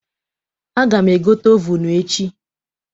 Aga m egote ovunu echi.